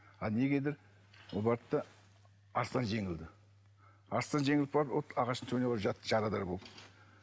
ол барды да арыстан жеңілді арыстан жеңіліп барып ол ағаштың түбіне барып жатты болып